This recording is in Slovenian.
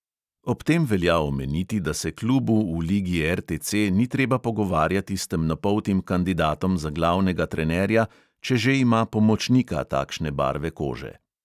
Ob tem velja omeniti, da se klubu v ligi RTC ni treba pogovarjati s temnopoltim kandidatom za glavnega trenerja, če že ima pomočnika takšne barve kože.